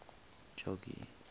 jogee